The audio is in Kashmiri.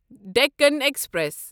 ڈٮ۪کن ایکسپریس